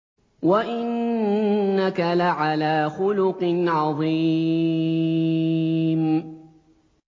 وَإِنَّكَ لَعَلَىٰ خُلُقٍ عَظِيمٍ